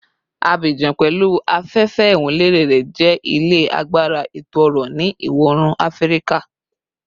Abidjan, pẹlu afefe iwunlere rẹ, jẹ ile agbara eto-ọrọ ni Iwọ-oorun Afirika